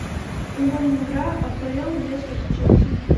футбольная игра апл лестер с челси